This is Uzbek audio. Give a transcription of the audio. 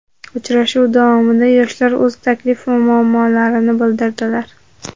Uchrashuv davomida yoshlar o‘z taklif va muammolarini bildirdilar.